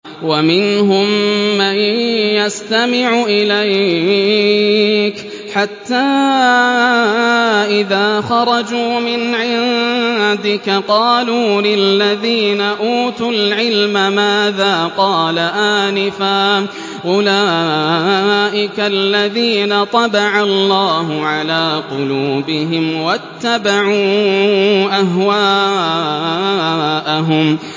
وَمِنْهُم مَّن يَسْتَمِعُ إِلَيْكَ حَتَّىٰ إِذَا خَرَجُوا مِنْ عِندِكَ قَالُوا لِلَّذِينَ أُوتُوا الْعِلْمَ مَاذَا قَالَ آنِفًا ۚ أُولَٰئِكَ الَّذِينَ طَبَعَ اللَّهُ عَلَىٰ قُلُوبِهِمْ وَاتَّبَعُوا أَهْوَاءَهُمْ